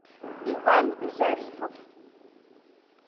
иван зарифов